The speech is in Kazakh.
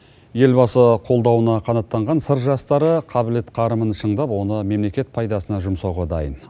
елбасы қолдауына қанаттанған сыр жастары қабілет қарымын шыңдап оны мемлекет пайдасына жұмсауға дайын